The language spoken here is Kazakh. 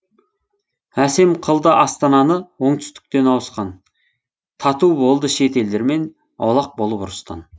әсем қылды астананы оңтүстіктен ауысқан тату болды шет елдермен аулақ болып ұрыстан